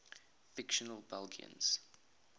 fictional belgians